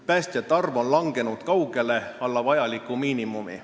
Päästjate arv on kahanenud kaugele alla vajaliku miinimumi.